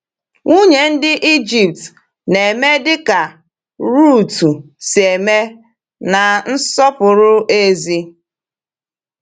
Nwunye ndị Ịjipt na-eme dịka Rutu si eme na nsọpụrụ ezi?